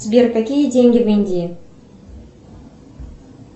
сбер какие деньги в индии